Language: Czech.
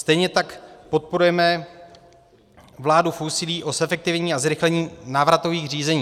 Stejně tak podporujeme vládu v úsilí o zefektivnění a zrychlení návratových řízení.